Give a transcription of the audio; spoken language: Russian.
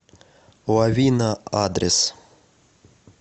лавина адрес